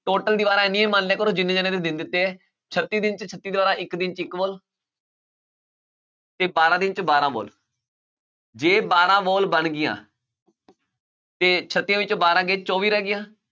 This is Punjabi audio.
Total ਦੀਵਾਰਾਂ ਇੰਨੀਆਂ ਹੀ ਮੰਨ ਲਿਆ ਕਰੋ ਜਿੰਨੇ ਜਾਣਿਆਂ ਦੇ ਦਿਨ ਦਿੱਤੇ ਹੈ ਛੱਤੀ ਦਿਨ 'ਚ ਛੱਤੀ ਦੀਵਾਰਾਂ, ਇੱਕ ਦਿਨ 'ਚ ਇੱਕ wall ਤੇ ਬਾਰਾਂ ਦਿਨ 'ਚ ਬਾਰਾਂ wall ਜੇ ਬਾਰਾਂ wall ਬਣ ਗਈਆਂ ਤੇ ਛੱਤੀਆਂ ਵਿੱਚੋਂ ਬਾਰਾਂ ਗਏ ਚੌਵੀ ਰਹਿ ਗਈਆਂ